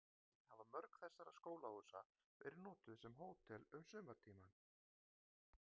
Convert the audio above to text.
Í seinni tíð hafa mörg þessara skólahúsa verið notuð sem hótel um sumartímann.